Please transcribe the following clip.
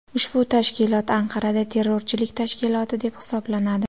Ushbu tashkilot Anqarada terrorchilik tashkiloti deb hisoblanadi.